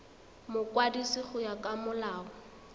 mokwadisi go ya ka molao